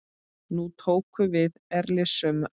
Nú tóku við erilsöm ár.